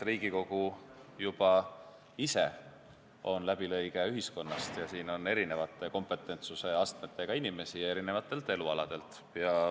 Riigikogu on läbilõige ühiskonnast, siin on erineva kompetentsusastmega inimesi paljudelt elualadelt.